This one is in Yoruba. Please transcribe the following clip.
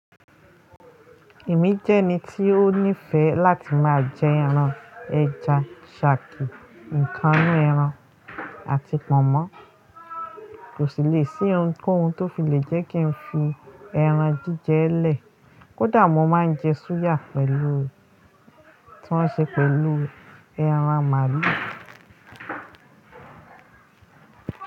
Èmi jẹ́ ẹni tí ó nífẹ̀ẹ́ láti máa jẹ ẹran, ẹja, ṣàkì, nǹkan inú ẹran, àti pọ̀nmọ́. Kò sí lè sí ohunkóhun tí ó fi lè jẹ́ kí n fi ẹran jíjẹ ẹ́ lẹ̀, kó dà mo máa ń jẹ súyà tí wọ́n ṣe pẹ̀lú ẹran màlúù.